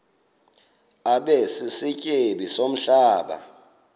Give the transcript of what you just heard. abe sisityebi somhlaba